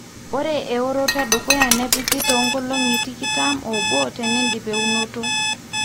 ore eworoto edukuya nepiki too nkolongi tikitam oobo tenidip eunoto